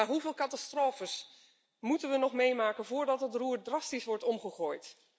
Hoeveel catastrofes moeten we nog meemaken voordat het roer drastisch wordt omgegooid?